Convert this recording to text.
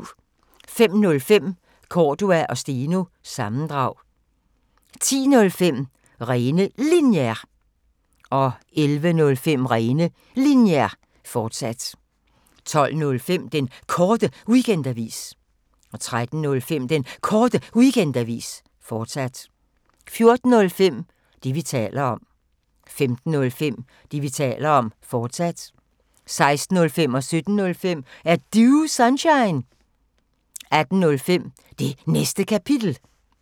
05:05: Cordua & Steno – sammendrag 10:05: Rene Linjer 11:05: Rene Linjer, fortsat 12:05: Den Korte Weekendavis 13:05: Den Korte Weekendavis, fortsat 14:05: Det, vi taler om 15:05: Det, vi taler om, fortsat 16:05: Er Du Sunshine? 17:05: Er Du Sunshine? 18:05: Det Næste Kapitel